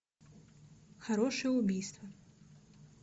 хорошее убийство